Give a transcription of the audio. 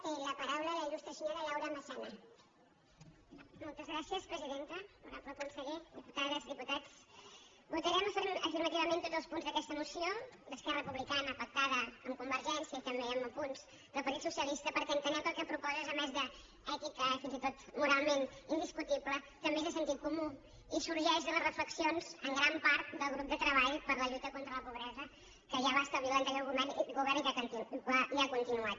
honorable conseller diputades diputats votarem afirmativament tots els punts d’aquesta moció d’esquerra republicana pactada amb convergència i també amb apunts del partit socialista perquè entenem que el que proposa és a més d’èticament i fins i tot moralment indiscutible també és de sentit comú i sorgeix de les reflexions en gran part del grup de treball per la lluita contra la pobresa que ja va establir l’anterior govern i que ha continuat